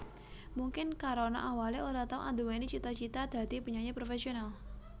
Mungkin karana awalé ora tau anduweni cita cita dadi penyanyi professional